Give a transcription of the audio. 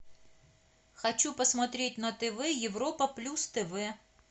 хочу посмотреть на тв европа плюс тв